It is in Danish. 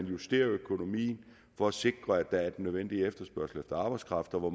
justere økonomien for at sikre at der er en nødvendige efterspørgsel efter arbejdskraft og hvor